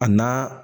A na